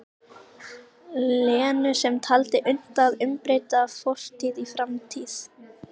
Lenu sem taldi unnt að umbreyta fortíð í framtíð.